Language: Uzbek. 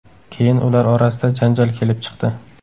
Keyin ular orasida janjal kelib chiqdi.